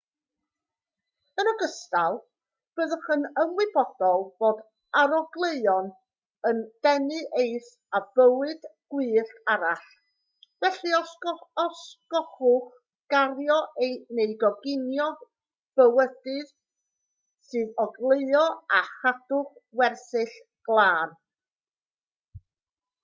yn ogystal byddwch yn ymwybodol fod arogleuon yn denu eirth a bywyd gwyllt arall felly osgowch gario neu goginio bwydydd sy'n ogleuo a chadwch wersyll glân